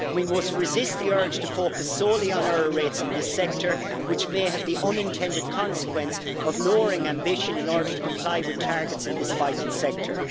We must resist the urge to focus solely on error rates in this sector, which may have the unintended consequence of lowering ambition in order to comply with targets in this vital sector.